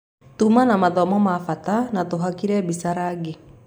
Tuma na mathomo ma bata na tũhakire mbica rangi.